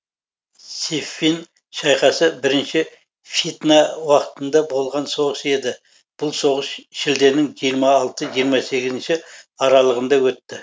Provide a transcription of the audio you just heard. сиффин шайқасы бірінші фитна уақытында болған соғыс еді бұл соғыс шілденің жиырма алты жиырма сегізінші аралығында өтті